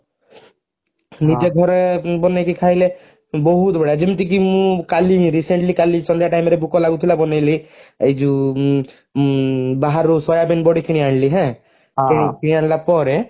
ନିଜେ ଘରେ ବନେଇକି ଖାଇଲେ ବହୁତ ବଢିୟା ଯେମିତିକି ମୁଁ କାଲି recently ସନ୍ଧ୍ୟା time ରେ ଭୋକ ଲାଗୁଥିଲା ବନେଇଲି ଏଯଉ ଉଁ ବାହାରରୁ soybean ବଡି କିଣିଆଣିଲି ହାଁ କିଣି ଆଣିଲା ପରେ